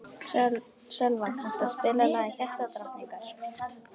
Sölva, kanntu að spila lagið „Hjartadrottningar“?